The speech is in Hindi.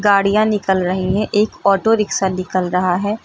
गाड़ियां निकल रही है एक ऑटो रिक्सा निकल रहा है।